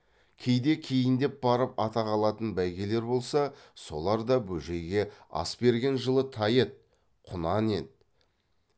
кейде кейіндеп барып атақ алатын бәйгелер болса солар да бөжейге ас берген жылы тай еді құнан еді